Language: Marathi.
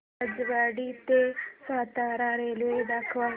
राजेवाडी ते सातारा रेल्वे दाखव